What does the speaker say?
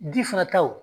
Di fana taw